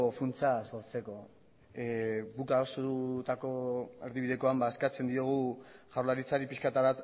funtsa sartzeko guk adostutako erdibidekoan eskatzen diogu jaurlaritzari pixka bat